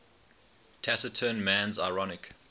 taciturn man's ironic